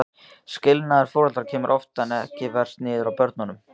Skilnaður foreldra kemur oftar en ekki verst niður á börnunum.